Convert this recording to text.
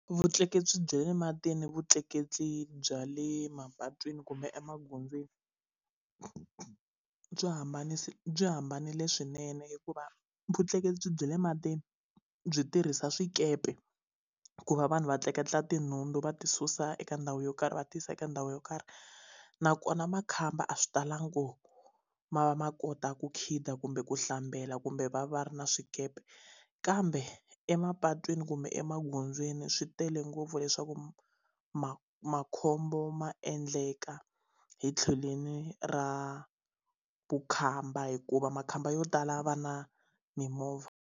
Vutleketli bya le matini vutleketli bya le mapatwini kumbe emagondzweni byi byi hambanile swinene hikuva vutleketli bya le matini byi tirhisa swikepe ku va vanhu va tleketla tinhundzu va ti susa eka ndhawu yo karhi va ti yisa eka ndhawu yo karhi nakona makhamba a swi talangi ko ma va ma kota ku khida kumbe ku hlambela kumbe va va ri na swikepe kambe emapatwini kumbe emagondzweni swi tele ngopfu leswaku ma makhombo ma endleka hi tlhelweni ra vukhamba hikuva makhamba yo tala va na mimovha.